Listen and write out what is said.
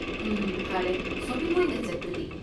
ꯎꯝ, ꯐꯔꯦ, ꯁꯣꯄꯤꯡ ꯑꯣꯏꯅ ꯆꯠꯄꯗꯤ?